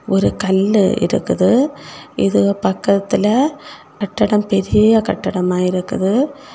ஒரு கல்லு இருக்குது இது பக்கத்துல கட்டடம் பெரிய கட்டடமா இருக்குது.